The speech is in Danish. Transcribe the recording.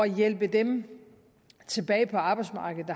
hjælpe dem tilbage på arbejdsmarkedet